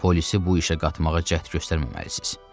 Polisi bu işə qatmağa cəhd göstərməməlisiniz.